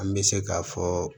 An bɛ se k'a fɔ